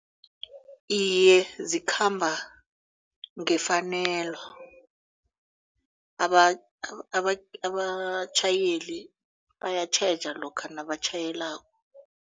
Iye zikhamba ngefanelo abatjhayeli bayatjheja lokha nabatjhayelako.